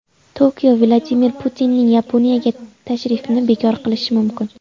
Tokio Vladimir Putinning Yaponiyaga tashrifini bekor qilishi mumkin.